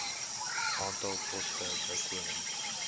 aantal poste bykomend